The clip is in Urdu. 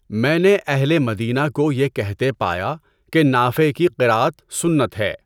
میں نے اہلِ مدینہ کو یہ کہتے پایا کہ نافع کی قراءت سنت ہے۔